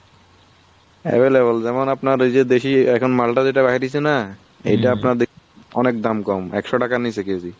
available যেমন আপনার ওই যে দেশিও এখন মালটা যেটা বাহির হয়েছে না আপনার অনেক দাম কম একশো টাকা নিচে কেজি।